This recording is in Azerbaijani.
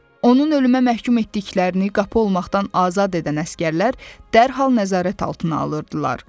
Onun ölümə məhkum etdiklərini qapı olmaqdan azad edən əsgərlər dərhal nəzarət altına alırdılar.